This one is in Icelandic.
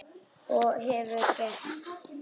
Og það hefurðu gert.